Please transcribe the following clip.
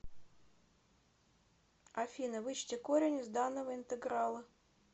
афина вычти корень из данного интеграла